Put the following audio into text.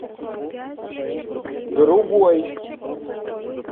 другой